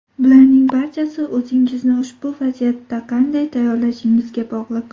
Bularning barchasi o‘zingizni ushbu vaziyatda qanday tayyorlashingizga bog‘liq.